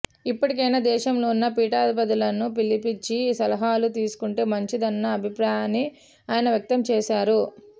ఇప్పటికైనా దేశంలో ఉన్న పీఠాధిపతులను పిలిపించి సలహాలు తీసుకుంటే మంచిదన్న అభిప్రాయాన్ని ఆయన వ్యక్తం చేశారు